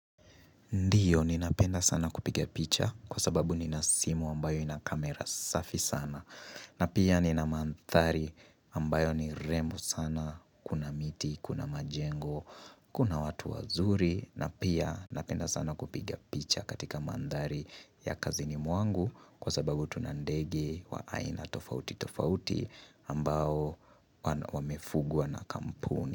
Ndio ninapenda sana kupiga picha kwa sababu nina simu ambayo ina kamera safi sana na pia nina mandhari ambayo ni rembo sana, kuna miti, kuna majengo, kuna watu wazuri na pia napenda sana kupiga picha katika mandhari ya kazini mwangu kwa sababu tuna ndege wa aina tofauti tofauti ambao wamefugwa na kampuni.